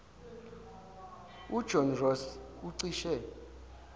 ujohn ross ucishe